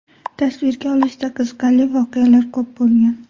Tasvirga olishda qiziqarli voqealar ko‘p bo‘lgan.